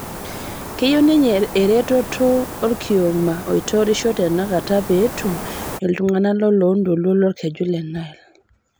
Keyieu ninye eretoto olkioma oitorisho tenakatapee etum iltung'ana loloontoluo lolkeju le Nile